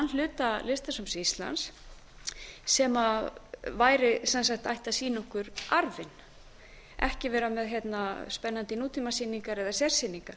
hluta listasafns íslands sem ætti að sýna okkur arfinn ekki vera með spennandi nútímasýningar eða sérsýningar